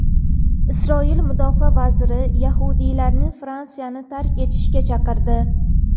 Isroil mudofaa vaziri yahudiylarni Fransiyani tark etishga chaqirdi.